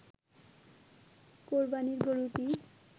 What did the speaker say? কোরবানীর গরুটি